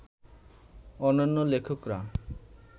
অন্যান্য লেখকরা